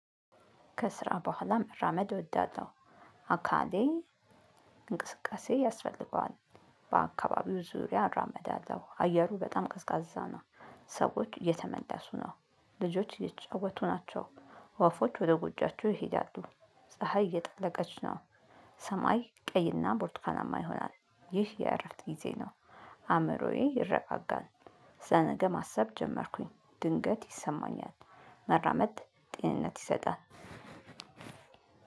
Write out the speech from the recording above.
ከስራ በኋላም መራመድ እወዳለው አካሌ እንቅስቃሴ ያስፈልገዋል በአካባቢው ዙሪያ እራመድአለው አየሩ በጣም ቀዝቃዛ ነው። ሰዎች እየተመለሱ ነው ልጆች እየተጫወቱ ናቸው። ወፎች ወደ ጎጆዋቸው ይሄዳሉ ፀሀይ እየጠለቀች ነው። ሰማይ ቀይና ቦርትካናማ ይሆናል ይህ የእረፍት ጊዜ ነው። አእምሮዬ ይረጋጋል። ስለነገ ማሰብ ጀመርኩኝ ድንገት ይሰማኛል። መራመድ ጤንነት ይሰጣል።